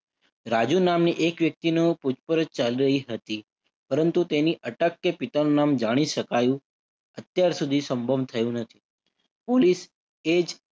રાજીવ નામની એક વ્યક્તિનું પૂછપરછ હતી. પરંતુ તેની અટક કે પિતાનું નામ જાણી શકાયું અત્યાર સુધી સંભવ થયું નથી. પોલીસ એ જ